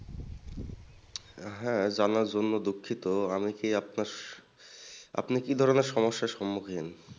হ্যাঁ জানার জন্য দুঃখিত আমি কি আপনার আপনি কি ধরণের সমস্যার সম্মুখীন?